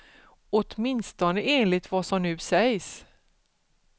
Åtminstone enligt vad som nu sägs.